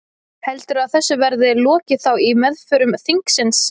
Heldurðu að þessu verði lokið þá í meðförum þingsins?